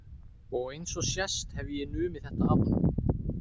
Og eins og sést hef ég numið þetta af honum.